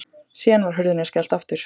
Síðan var hurðinni skellt aftur.